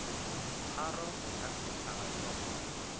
tharo go ka phethagatšwa mo